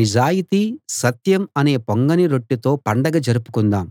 నిజాయితీ సత్యం అనే పొంగని రొట్టెతో పండగ జరుపుకుందాం